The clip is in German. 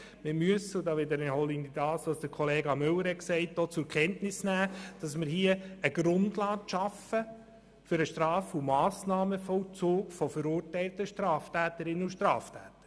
Wir müssen auch zur Kenntnis nehmen – da wiederhole ich die Aussage von Kollega Müller –, dass wir hier eine Grundlage schaffen für den Straf- und Massnahmenvollzug von verurteilten Straftäterinnen und Straftätern.